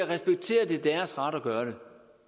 respekterer at det er deres ret at gøre det